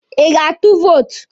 Ị ga-atụ vootu?